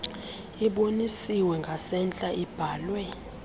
ibonisiwe ngasentla ibhalwe